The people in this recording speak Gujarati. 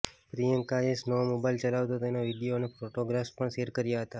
પ્રિયંકાએ સ્નોમોબાઇલ ચલાવતો તેનો વીડિયો અને ફોટોગ્રાફ્સ પણ શૅર કર્યા હતા